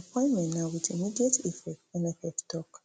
di appointment na wit immediate effect nff tok